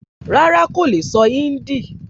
Rárá, kò le sọ híńdì